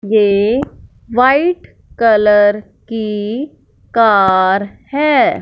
ये white colour की car है।